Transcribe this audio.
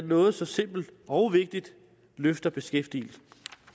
noget så simpelt og vigtigt løfter beskæftigelsen